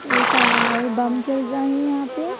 एक और बम चल रहा यहां पे।